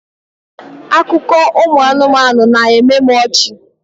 Akụkọ ụmụ anụmanụ na-eme m ọchị.